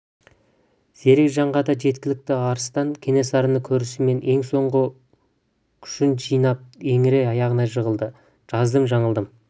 зерек жанға да жеткілікті арыстан кенесарыны көрісімен ең соңғы күшін жинап еңірей аяғына жығылды жаздым жаңылдым